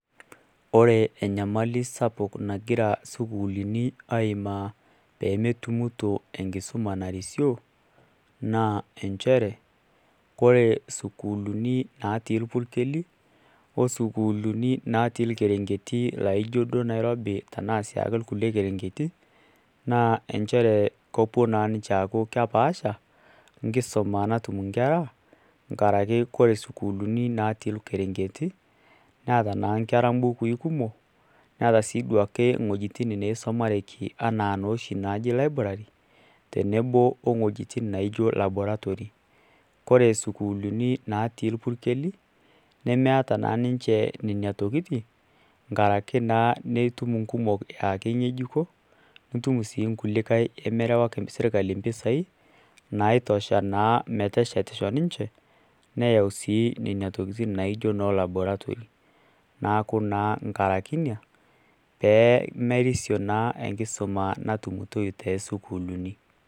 Ore enyamali sapuk nagira isukuulini aimaa peemegira isukuulini aimaa peemetumito enkisuma narisio naa inchere ore isukuulini natii irpukeli osukuulini naatii irkerenketi laijio duo nairobi ashua irkulie kerengeti naaa inchere kepuo naa ninche aaku kepaasha nkisuma natum ingera nkaraki kore schoolini natii irkerengeti neeta naa inkera mbukui kumok netaa naaduake iwuejitin naisumareki enaa noooshi najio library enaa laboratory kore isukuulini natii irpukeli nemeeta naaninche nena tokitin nkaraki naa nitum inkumok aa keing'ejuko nitum sii nkulikae nemerewaki sirkali impisai naitosho naa meteshetisho ninche neyau naa laboratory naaku naa inkaraki ina pee meriso naa enkisuma natumitoi toosukulini.